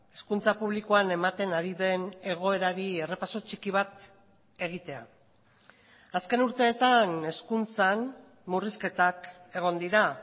hezkuntza publikoan ematen ari den egoerari errepaso txiki bat egitea azken urteetan hezkuntzan murrizketak egon dira